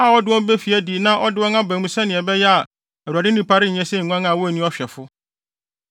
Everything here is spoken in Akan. a ɔde wɔn befi adi na ɔde wɔn aba mu sɛnea ɛbɛyɛ a Awurade nnipa renyɛ sɛ nguan a wonni ɔhwɛfo.”